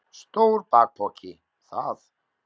Stór bakpoki, það!